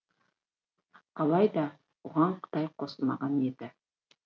алайда оған қытай қосылмаған еді